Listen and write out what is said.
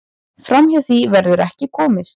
Framhjá því verður ekkert komist.